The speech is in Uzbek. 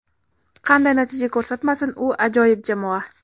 Qanday natija ko‘rsatmasin, u ajoyib jamoa.